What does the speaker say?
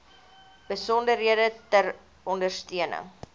besonderhede ter ondersteuning